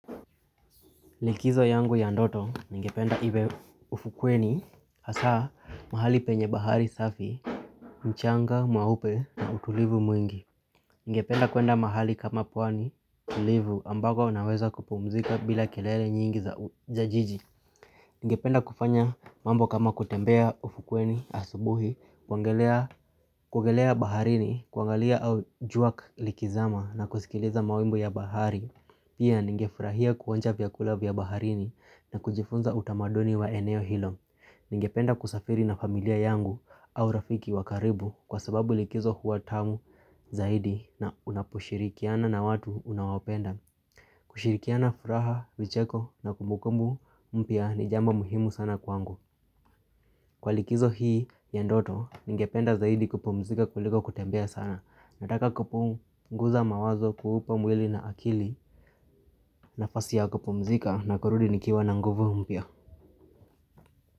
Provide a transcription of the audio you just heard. Likizo yangu ya ndoto ningependa iwe ufukweni hasa mahali penye bahari safi, mchanga, meupe na utulivu mwingi. Ningependa kuenda mahali kama pwani tulivu ambako naweza kupumzika bila kelele nyingi za jiji Ningependa kufanya mambo kama kutembea ufukweni asubuhi, kuogelea baharini, kuangalia au jua likizama na kusikiliza mawimbo ya bahari. Pia ningefurahia kuonja vyakula vya baharini na kujifunza utamaduni wa eneo hilo. Ningependa kusafiri na familia yangu au rafiki wa karibu kwa sababu likizo huwa tamu zaidi na unaposhirikiana na watu unawapenda. Kushirikiana furaha, vicheko na kumukumbu mpya ni jambo muhimu sana kwangu. Kwa likizo hii ya ndoto ningependa zaidi kupumzika kuliko kutembea sana. Nataka kupunguza mawazo kuupa mwili na akili nafasi ya kupumzika na kurudi nikiwa na nguvu mpya.